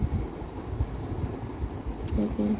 তাকেই